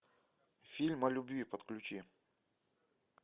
фильм о любви подключи